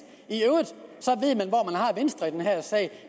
at har venstre i den her sag